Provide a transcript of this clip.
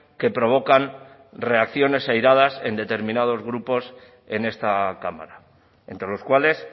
que provocan reacciones airadas en determinados grupos en esta cámara entre los cuales